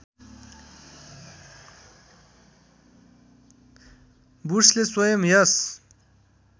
वुड्सले स्वयं यस